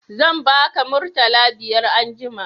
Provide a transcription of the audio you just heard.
Zan ba ka murtala biyar anjima